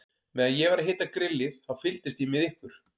Meðan ég var að hita grillið, þá fylgdist ég með ykkur.